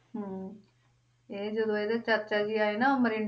ਹਮ ਇਹ ਜਦੋਂ ਇਹਦੇ ਚਾਚਾ ਜੀ ਆਏ ਨਾ